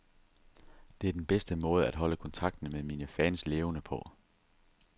Det er den bedste måde at holde kontakten med mine fans levende på.